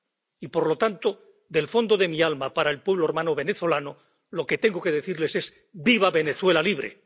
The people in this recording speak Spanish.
Y, por lo tanto, desde el fondo de mi alma para el pueblo hermano venezolano lo que tengo que decirles es ¡Viva Venezuela libre!